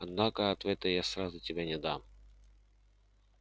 однако ответа я сразу тебе не дам